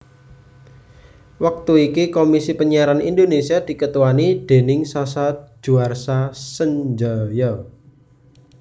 Wektu iki Komisi Panyiaran Indonesia diketuani déning Sasa Djuarsa Sendjaja